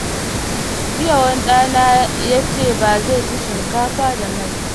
Jiya wani ɗana yace bazai ci shinkafa da mai ba.